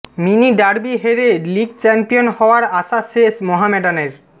mini derby হেরে league champion হওয়ার আশা শেষ মহমেডানের